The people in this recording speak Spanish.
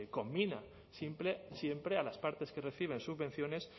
conmina siempre a las partes que reciben subvenciones